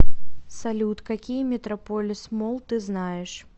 салют какие метрополис молл ты знаешь